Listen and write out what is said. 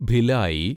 Bhilai